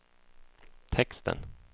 texten